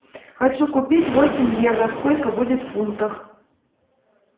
хочу купить восемь евро сколько будет в фунтах